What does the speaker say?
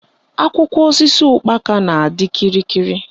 Akwụkwọ osisi ụkpaka na-adị kịrịkịrị